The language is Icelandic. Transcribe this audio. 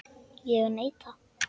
Ég neita.